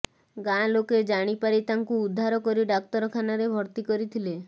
ଗାଁ ଲୋକେ ଜାଣିପାରି ତାଙ୍କୁ ଉଦ୍ଧାର କରି ଡାକ୍ତରଖାନାରେ ଭର୍ତ୍ତି କରିଥିଲେ